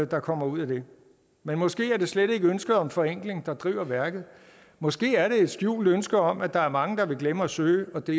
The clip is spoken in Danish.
der kommer ud af det men måske er det slet ikke ønsket om forenkling der driver værket måske er det et skjult ønske om at der er mange der vil glemme at søge og det